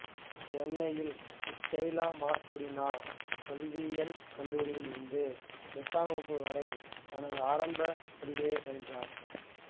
சென்னையின் Stella Matutina கல்வியியல் கல்லூரியில் இருந்து எட்டாம் வகுப்பு வரை தனது ஆரம்பக் கல்வியைப் பயின்றார்